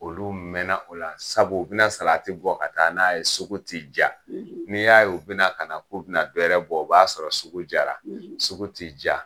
Olu mɛna o la sabu u bɛna salati bɔ ka taa n'a ye sugu ti ja. N'i y'a ye u bɛna kana k'u bɛna bɛɛrɛ bɔ o b'a sɔrɔ sugu jara. Sugu ti ja.